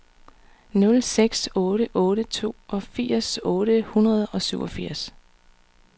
nul seks otte otte toogfirs otte hundrede og syvogfirs